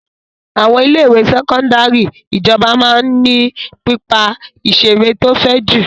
Àwọn ilé-ìwé sẹ́kọ́ndárì ìjọba máa ń ní pápá-ìṣeré tó fẹ̀ jù.